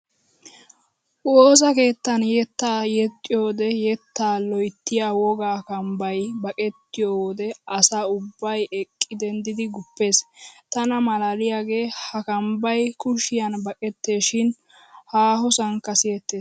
Woosa keettan yettaa yeexxiyoodee yettaa loyttiya wogga kambbay baqettiyoo wode asa ubbay eqqi denddidi guppes. Tana maalaaliyaagee ha kambbay kushyan baqetteesshin haahosankka siyettes.